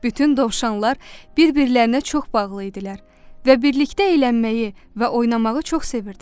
Bütün dovşanlar bir-birlərinə çox bağlı idilər və birlikdə əylənməyi və oynamağı çox sevirdilər.